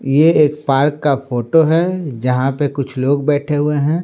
ये एक पार्क का फोटो है जहां पर कुछ लोग बैठे हुए है।